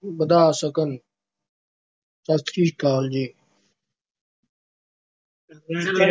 ਵਧਾ ਸਕਣ। ਸਤਿ ਸ਼੍ਰੀ ਅਕਾਲ ਜੀ।